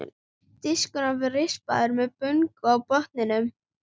Diskurinn var rispaður og með bungu á botninum.